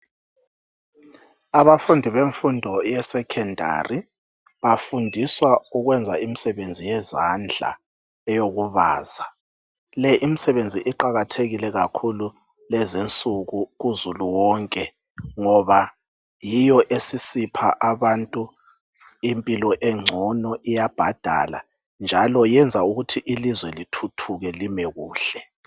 Abafundi bemfundo ye secondary, bafundiswa ukwenza imsebenzi yezandla eyokubaza. Le imisebenzi iqakathekile kakhulu kulezinsuku kuzulu wonke ngoba yiyo esisipha abantu impilo engcono, iyabhadala, njalo iyenza ukuthi ilizwe lithuthuke lime kuhle.